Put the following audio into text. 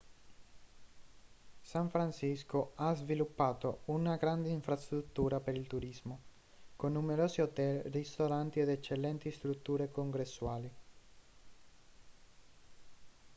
san francisco ha sviluppato una grande infrastruttura per il turismo con numerosi hotel ristoranti ed eccellenti strutture congressuali